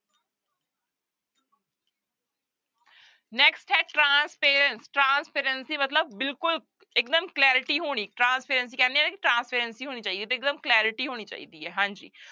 Next ਹੈ transparence, transparency ਮਤਲਬ ਬਿਲਕੁਲ ਇੱਕਦਮ clarity ਹੋਣੀ transparency ਕਹਿੰਦੇ ਹਾਂ ਨਾ ਕਿ transparency ਹੋਣੀ ਚਾਹੀਏ ਤੇ ਇੱਕਦਮ clarity ਹੋਣੀ ਚਾਹੀਦੀ ਹੈ ਹਾਂਜੀ।